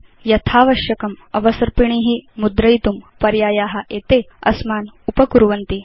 यथावश्यकम् अवसर्पिणी मुद्रयितुं पर्याया एते अस्मान् उपकुर्वन्ति